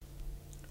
TV 2